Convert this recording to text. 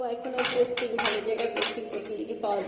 তো এখুন ও posting ভালো জায়গা posting প্রথম দিকে